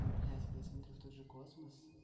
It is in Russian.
ну блять когда я смотрю в тот же космос